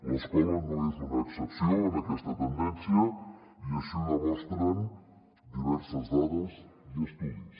l’escola no és una excepció en aquesta tendència i així ho demostren diverses dades i estudis